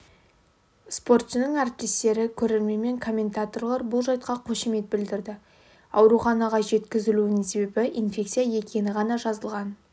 спортшының әріптестері көрермен мен комментаторлар бұл жайтқа қошемет білдірді ауруханаға жеткізілуінің себебі инфекция екені ғана жазылған